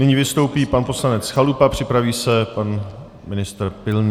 Nyní vystoupí pan poslanec Chalupa, připraví se pan ministr Pilný.